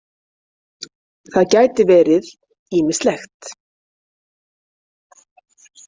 Það gæti verið ýmislegt.